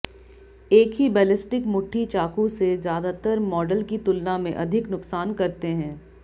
एक ही बैलिस्टिक मुट्ठी चाकू से ज्यादातर मॉडल की तुलना में अधिक नुकसान करते हैं